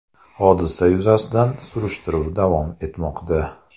Hodisa yuzasidan surishtiruv davom etmoqda.